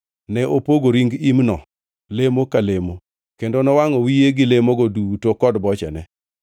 Ne opogo ring imno lemo ka lemo kendo nowangʼo wiye gi lemogo duto kod bochene.